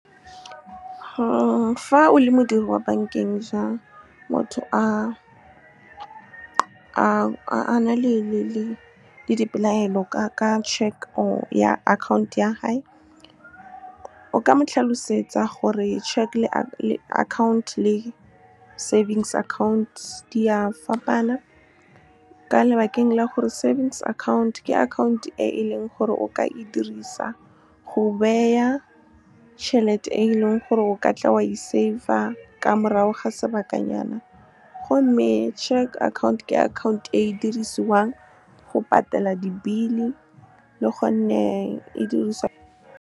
Fa o le modiri wa bankeng motho a na le dipelaelo, ka check or ya account ya hae, o ka mo tlhalosetsa gore check account le savings account di a fapana ka lebakeng la gore savings account ke akhaonto e e leng gore o ka e dirisa go beya tšhelete, e leng gore o ka tla wa e save-a ka morago ga sebakanyana, gomme cheque account ke akhaonto e e dirisiwang go patela di-bill-e, le gonne e diriswa. Fa o le modiri wa bankeng motho a na le dipelaelo, ka check or ya account ya hae, o ka mo tlhalosetsa gore check account le savings account di a fapana ka lebakeng la gore savings account ke akhaonto e e leng gore o ka e dirisa go beya tšhelete, e leng gore o ka tla wa e save-a ka morago ga sebakanyana, gomme cheque account ke akhaonto e e dirisiwang go patela di-bill-e, le gonne e diriswa.